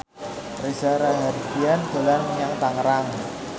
Reza Rahardian dolan menyang Tangerang